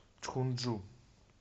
чхунджу